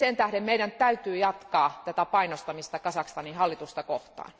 Sen tähden meidän täytyy jatkaa tätä painostamista Kazakstanin hallitusta kohtaan.